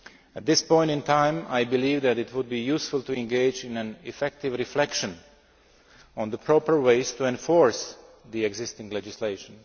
At this point in time, I believe that it would be useful to engage in effective reflection on the proper ways to enforce the existing legislation.